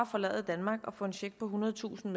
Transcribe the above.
forlade danmark og få en check på ethundredetusind